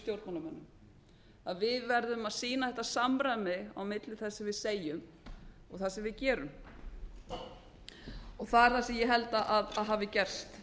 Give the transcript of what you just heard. stjórnmálamönnum að við verðum að sýna þetta samræmi á milli þess sem við segjum og það sem við gerum það er það sem ég held að hafi gerst